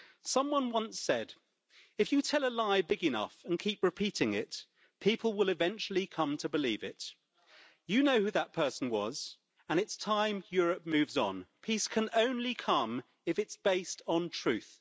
Someone once said, if you tell a lie big enough and keep repeating it, people will eventually come to believe it'. You know who that person was. And it's time Europe moves on. Peace can only come if it is based on truth.